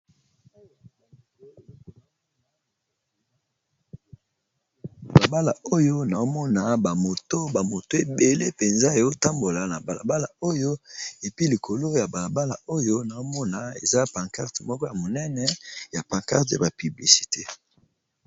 Bala bala oyo naomona ba moto ba moto ebele penza ezo tambola na bala bala oyo epi likolo ya bala bala oyo naomona eza pancarte moko ya monene ya pancarte ya ba piblicite.